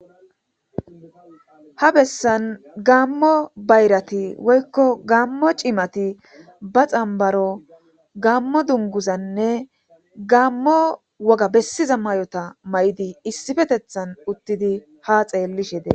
Ha bessan gammo bayrati woykko gammo cimati ba xambaro gammo dunguzanne gammo woga bessiza may'ota may'di issifetethan uttidi ha xeellishede.